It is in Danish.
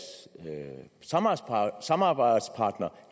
samarbejdspartnere